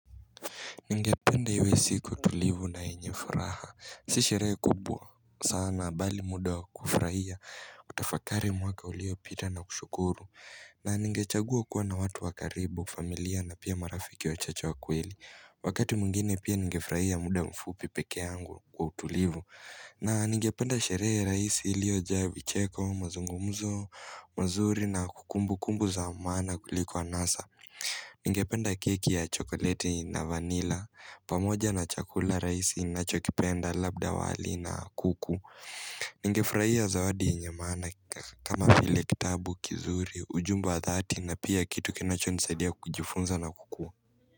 Ningependa iwe siku tulivu na yenye furaha. Si shere kubwa. Sana bali muda wa kufraia. Kutafakari mwaka uliopita na kushukuru. Na ningechagua kuwa na watu wa karibu, familia na pia marafiki wachache wa kweli. Wakati mwengine pia ningefraia muda mfupi peke yangu kwa tulivu. Na ningependa sheree raisi iliojaa vicheko mazungumzo mazuri na kukumbukumbu za maana kuliki anasa Ningependa keki ya chokoleti na vanila pamoja na chakula raisi nachokipenda labda wali na kuku Ningefuraia zawadi yenye maana kama vile kitabu kizuri ujumbe wa dhati na pia kitu kinachonisaidia kujifunza na kukua.